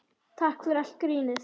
Takk fyrir allt grínið.